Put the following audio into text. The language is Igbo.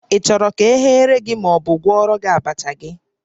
Ị chọrọ ka e ghere gị ma ọ bụ gwọọrọ gị abacha gị?